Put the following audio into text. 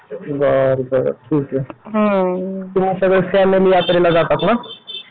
बरं बरं ठीक आहे यात्रेला जातात ना?